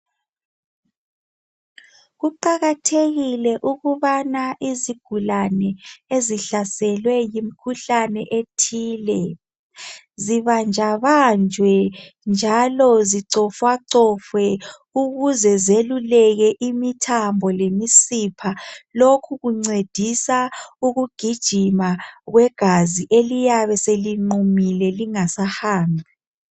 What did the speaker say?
Kuqakathekile ukuthi izigulane ezihlaselwe yimikhuhlane ethile zibanjwa banjwa njalo zicofwa cofwa ukuze zeluleke imithambo lemisipha lokhu kuncedisa ukugijima kwegazi eliyabe selinqumile lingasahambi.